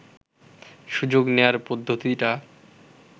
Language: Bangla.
সুযোগ নেয়ার পদ্ধতিটা